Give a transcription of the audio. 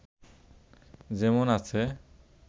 যেমন আছে